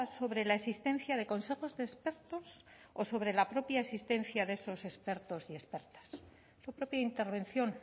sobre la existencia de consejos de expertos o sobre la propia existencia de esos expertos y expertas en su propia intervención